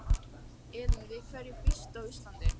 Elín: Við hverju býstu á Íslandi?